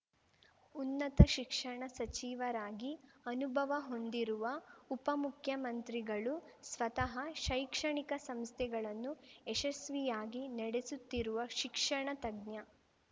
ಉನ್ನತ ಶಿಕ್ಷಣ ಸಚಿವರಾಗಿ ಅನುಭವ ಹೊಂದಿರುವ ಉಪಮುಖ್ಯಮಂತ್ರಿಗಳು ಸ್ವತಃ ಶೈಕ್ಷಣಿಕ ಸಂಸ್ಥೆಗಳನ್ನು ಯಶಸ್ವಿಯಾಗಿ ನಡೆಸುತ್ತಿರುವ ಶಿಕ್ಷಣ ತಜ್ಞ